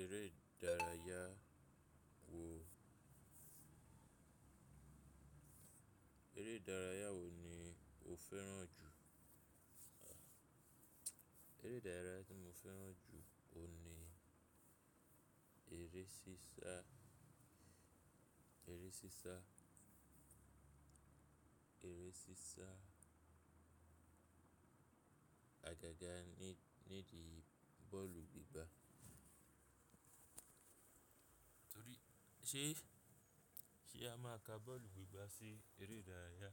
Eré ìdárayá wo, eré ìdárayá wo ni o fẹ́ràn jù? Eré ìdárayá tí mo fẹ́ràn jù o ni eré sísá, eré sísá, eré sísá, àgàgà ní, nídi bọ́ọ̀lù gbígbá. Torí ṣe, ṣe a máa ka bọ́ọ̀lù gbígbá sí eré ìdárayá?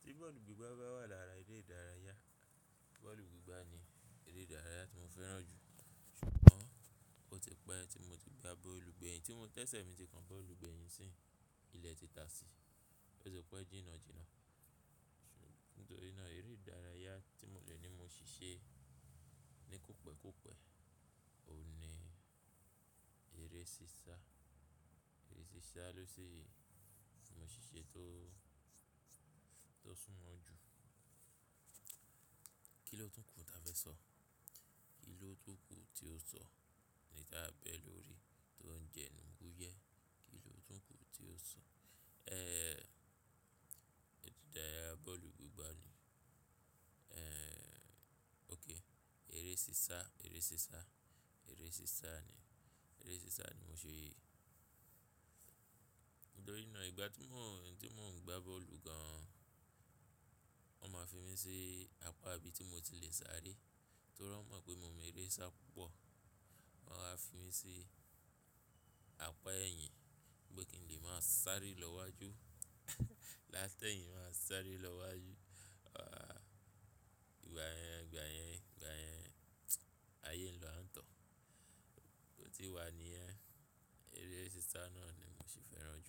Tí bọ́ọ̀lù gbígbá bá wà lára eré ìdárayá, bọ́ọ̀lù gbígbá ni eré ìdárayá tí mo fẹ́ràn jù. Ṣùgbọ́n ó ti pẹ́ tí mo ti gba bọ́ọ̀lù gbẹ́yìn tí mo tẹ́ṣẹ̀ mi ti kan bọ́ọ̀lù gbẹ́yìn sí, ilẹ̀ ti taasì, ó ti pẹ́ jínnàjínnà. Nítorí náà eré ìdárayá tí mo le ní mo ṣíṣe ní kòpẹ̀ẹ́kòpẹ̀ẹ́ o ni eré sísá. Eré sísá lò ṣì mo ṣí ṣe tó, tó súnmọ́ jù. Kí lọ̀tún ku ta fẹ sọ? Kí lọ̀tún ku tí ó sọ? Eni tá bẹ lórí tó n jẹnu wúyé. Kí lọ̀tún ku tí ó sọ? Eré ìdárayá bọ́ọ̀lù gbígbá ni. Eh, okay eré sísá, eré sísá, eré sísá ni. Eré sísá ni mo ṣe. Nítorí náà ìgbà tí mọ́n, tí mo ń gba bọ́ọ̀lù gan an, wọ́n máa fi mí sí apá ibi tí mo ti le sáré. Torí wọ́n mọ̀ pé mo mọ eré sá pọ̀. Wọ́n á fi mí sí apá ẹ̀yìn pé kin lè máa sáré lọ́'wajuú. Lát'ẹ̀yìn máa sáré lọ́wajú. Ah, ìgbà yẹn, ìgbà yẹn, ìgbà yẹn, ayé ń lọ àńto. Bó ti wà níyẹn. Eré sísá náà ni mo ṣì fẹ́ràn jù.